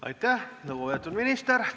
Aitäh, lugupeetud minister!